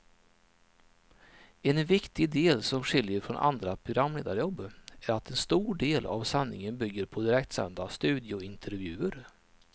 En viktig del som skiljer från andra programledarjobb är att en stor del av sändningen bygger på direktsända studiointervjuer.